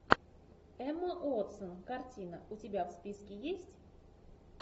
эмма уотсон картина у тебя в списке есть